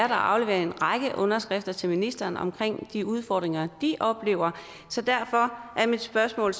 har afleveret en række underskrifter til ministeren om de udfordringer de oplever så derfor er mit spørgsmål